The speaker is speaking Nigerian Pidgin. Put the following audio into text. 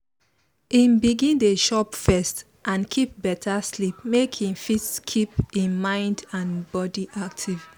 e begin dey chop first and get better sleep make e fit keep e mind and body active